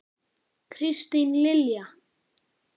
Kristín Lilja.